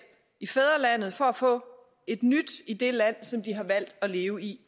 i fædrelandet for at få et nyt i det land som de har valgt at leve i